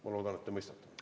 Ma loodan, et te mõistate.